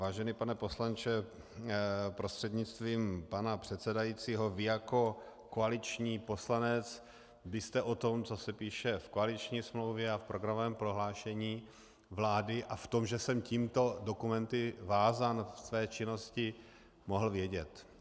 Vážený pane poslanče prostřednictvím pana předsedajícího, vy jako koaliční poslanec byste o tom, co se píše v koaliční smlouvě a v programovém prohlášení vlády, a o tom, že jsem těmito dokumenty vázán ve své činnosti, mohl vědět.